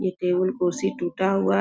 ये टेबुल कुर्सी टूटा हुआ--